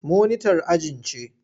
Monitar ajin ce.